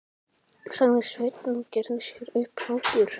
sagði Sveinn og gerði sér upp hlátur.